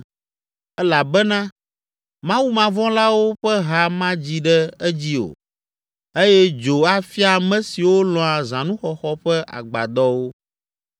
Elabena mawumavɔ̃lawo ƒe ha madzi ɖe edzi o eye dzo afia ame siwo lɔ̃a zãnuxɔxɔ ƒe agbadɔwo.